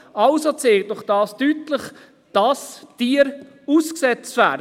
Das zeigt doch deutlich, dass Tiere ausgesetzt werden.